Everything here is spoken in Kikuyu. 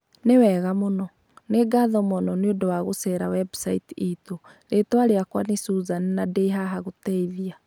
Nĩ wega mũno! Nĩ ngatho mũno nĩ ũndũ wa gũceera website itũ. Rĩĩtwa rĩakwa nĩ Suzane na ndĩ haha gũgũteithia.